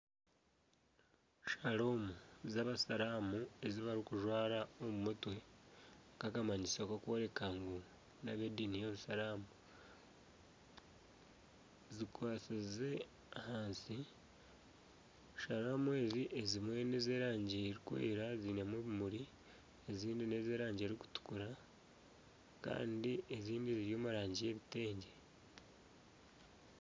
Shaalomu z'abasiiramu ezi barikujwara omu mutwe nka akamanyiso akarikworeka ngu n'ab'ediini y'obusiiramu zikwatsize ahansi, shaalomu ezi ezimwe nez'erangi erikwera zirimu ebimuri ezindi nez'erangi erikutukura kandi ezindi ziri omu rangi y'ebitengye.